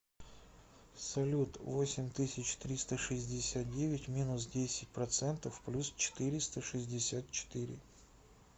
салют восемь тысяч триста шестьдесят девять минус десять процентов плюс четыреста шестьдесят четыре